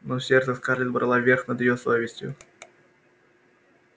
но сердце скарлетт брало верх над её совестью